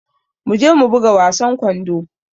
Mu je mu buga wasan kwando.